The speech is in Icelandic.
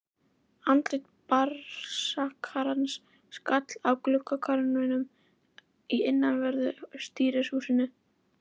Andlit Braskarans skall á gluggakarminum í innanverðu stýrishúsinu.